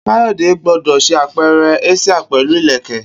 Kayode gbọdọ ṣe apẹrẹ asia pẹlu ileke